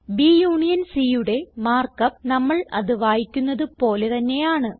B union C യുടെ mark up നമ്മൾ അത് വായിക്കുന്നത് പോലെ തന്നെയാണ്